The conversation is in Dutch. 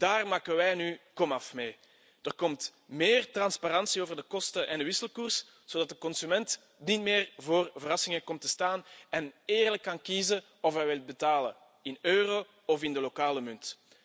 Daar maken wij nu een einde aan. Er komt meer transparantie over de kosten en de wisselkoers, zodat de consument niet meer voor verrassingen komt te staan en eerlijk kan kiezen of hij wil betalen in euro of in de lokale munt.